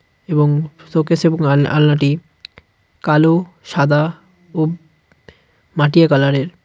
এবং শোকেস এবং আল-আলনাটি কালো সাদা ও মাটিয়া কালারের .